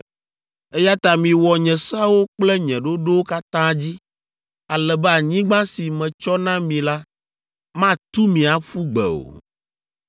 “ ‘Eya ta miwɔ nye seawo kple nye ɖoɖowo katã dzi, ale be anyigba si metsɔ na mi la matu mi aƒu gbe o.